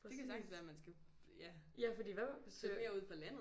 Præcis. Ja fordi hvad søger